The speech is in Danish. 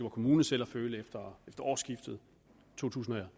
kommune selv at føle efter årsskiftet to tusind og